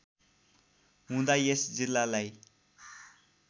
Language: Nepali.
हुँदा यस जिल्लालाई